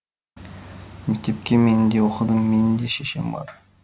мектепте мен де оқыдым менің де шешем бар